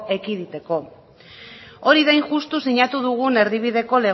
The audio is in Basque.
ekiditeko hori da hain justu sinatu dugun erdibideko